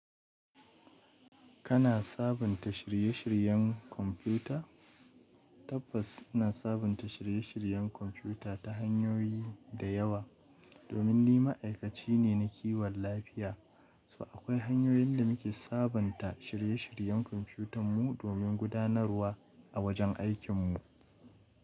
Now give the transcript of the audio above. Kana sabunta shirye shiryen kwamfuta? Tabbas ina sabunta shirye shiryen kwamfuta ta hanyoyi da yawa. Domin ni ma'aikaci ne na kiwon lafiya, so akwai hanyoyin da muke sabonta shirye shiryen kwamfutan mu domin gudanarwa a wajen aikin mu.